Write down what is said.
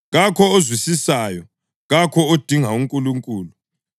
kakho ozwisisayo, kakho odinga uNkulunkulu.